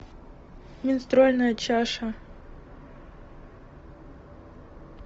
менструальная чаша